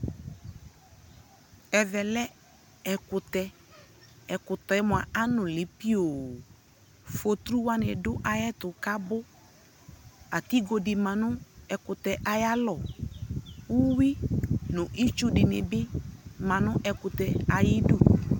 Ɛvɛ lɛ ɛkutɛ, ɛkutɛ mua anu li piooFotru wani adu ayɛtu kabuAtigo di ma nu ɛkutɛ aya lɔuyui nu itsu dι ni bi ma nu ɛkutɛ ayi du